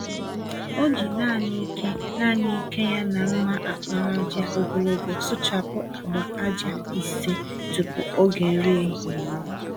O ji nanị ike nanị ike ya na mma àkpàràjà ogologo sụchapụ agba-ájá ise tupu ógè nri ehihie eruo.